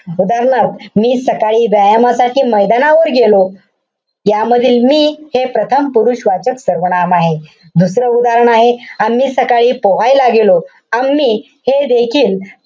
उदाहरणार्थ मी सकाळी व्यायामासाठी मैदानावर गेलो. यामधील मी हे प्रथम पुरुषवाचक सर्वनाम आहे. दुसरं उदाहरण आहे. आम्ही सकाळी पोहायला गेलो. आम्ही, हे देखील,